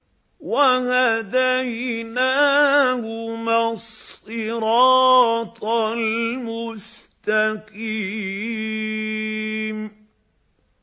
وَهَدَيْنَاهُمَا الصِّرَاطَ الْمُسْتَقِيمَ